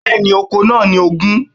Bẹ́ẹ̀ni, okòó náà ni ogun